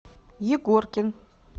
егоркин